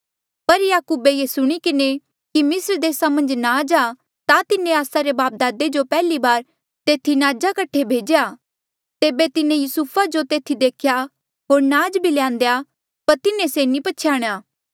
पर याकूबे ये सुणी किन्हें कि मिस्र देसा मन्झ नाज आ ता तिन्हें आस्सा रे बापदादे जो पैहली बार तेथी नाज कठे भेज्या तेबे तिन्हें युसुफा जो तेथी देख्या होर नाज भी ल्यान्देया पर तिन्हें से नी पछयाणेया